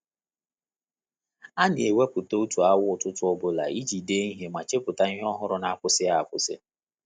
A na ewepu otu awa ụtụtụ ọbụla iji dee ihe ma chepụta ihe ọhụrụ n'akwụsịghị akwụsi